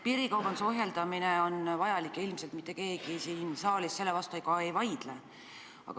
Piirikaubanduse ohjeldamine on vajalik ja ilmselt mitte keegi siin saalis selle vastu ei vaidle.